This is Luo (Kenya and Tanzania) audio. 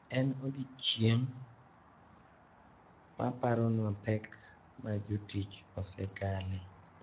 En odiechieng` maparonwa pek ma jotich osekale.